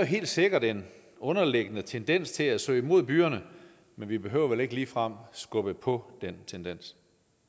helt sikkert en underliggende tendens til at søge mod byerne men vi behøver vel ikke ligefrem at skubbe på den tendens